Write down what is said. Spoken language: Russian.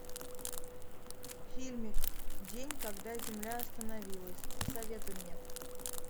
фильмик день когда земля остановилась посоветуй мне